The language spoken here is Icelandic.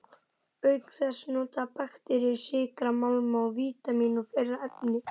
Auk þess nota bakteríur sykra, málma, vítamín og fleiri efni.